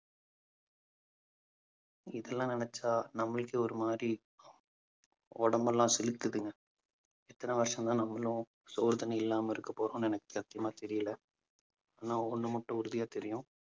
இதெல்லாம் நினைச்சா நம்மளுக்கே ஒரு மாதிரி உடம்பெல்லாம் சிலிர்க்குதுங்க . எத்தனை வருஷம்தான் நம்மளும் சோறு தண்ணி இல்லாம இருக்கப் போறோம்னு எனக்கு சத்தியமா தெரியலே. ஆனா ஒண்ணு மட்டும் உறுதியா தெரியும்